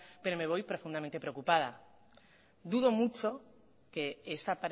pero me voy profundamente preocupada dudo mucho que esta